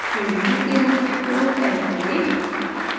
22 के रूप में port type करें